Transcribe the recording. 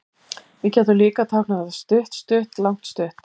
Við gætum líka táknað þetta stutt-stutt-langt-stutt.